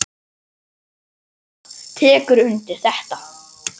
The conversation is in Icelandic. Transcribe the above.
Sandra tekur undir þetta.